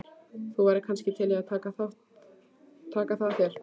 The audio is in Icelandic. Þú værir kannski til í að taka það að þér?